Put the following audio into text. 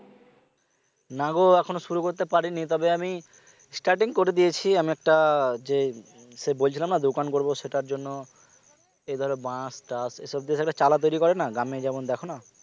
নাগো এখন শুরু করতে পারিনি তবে আমি starting করে দিয়েছি, আমি একটা যেই সে বলছিলাম না দোকান করবো সেটার জন্য এই ধরো বাঁশ এসব দিয়ে একটা চালা তৈরী করে না গ্রামে যেমন দেখ না